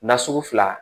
Nasugu fila